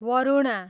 Varuna